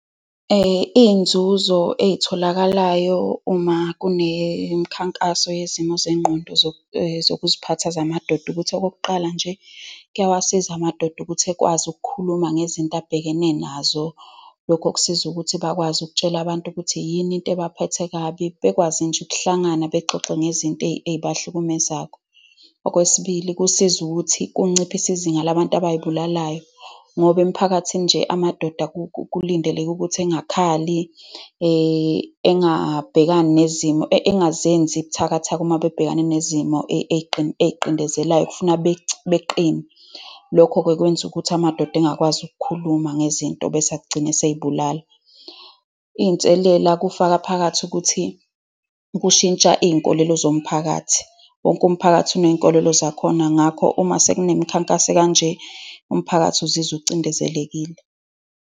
Iy'nzuzo ey'tholakalayo uma kunemikhankaso yezimo zengqondo zokuziphatha zamadoda ukuthi, okokuqala nje, kuyawasiza amadoda ukuthi ekwazi ukukhuluma ngezinto abhekene nazo. Lokhu kusiza ukuthi bakwazi ukutshela abantu ukuthi yini into ebaphethe kabi. Bekwazi nje ukuhlangana bexoxe ngezinto ey'bahlukumezako. Okwesibili, kusiza ukuthi kunciphise izinga labantu abay'bulalayo ngoba emiphakathini nje amadoda kulindeleke ukuthi engakhali, engabhekani nezimo, engazenzi buthakathaka uma bebhekane nezimo . Kufuneka beqine. Lokho-ke kwenza ukuthi amadoda engakwazi ukukhuluma ngezinto, bese agcine eseyibulala. Iy'nselela, kufaka phakathi ukuthi kushintsha izinkolelo zomphakathi. Wonke umphakathi uney'nkolelo zakhona. Ngakho, uma sekunemikhankaso ekanje, umphakathi uzizwa ucindezelekile.